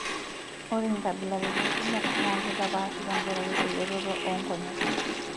ore inkabilaritin kumok naa kitapaashi te nkaraki elototo oo nkonyek